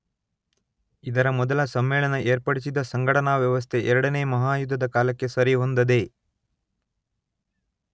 ಇದರ ಮೊದಲ ಸಮ್ಮೇಳನ ಏರ್ಪಡಿಸಿದ್ದ ಸಂಘಟನಾ ವ್ಯವಸ್ಥೆ ಎರಡನೆಯ ಮಹಾಯುದ್ಧದ ಕಾಲಕ್ಕೆ ಸರಿಹೊಂದದೆ